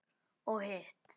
Og hitt?